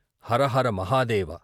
Hara Hara Mahadeva